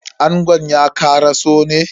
Angon ya karaso ne?